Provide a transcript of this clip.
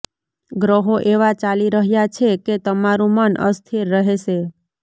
ગ્રહો એવા ચાલી રહ્યા છે કે તમારું મન અસ્થિર રહેશે